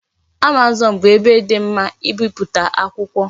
Amazon bu ebe di mma ibiputa akwukwo